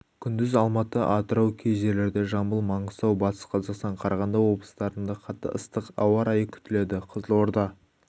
күндіз алматы атырау кей жерлерде жамбыл маңғыстау батыс-қазақстан қарағанды облыстарында қатты ыстық ауа райы күтіледі қызылорда